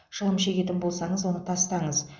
шылым шегетін болсаңыз оны тастаңыз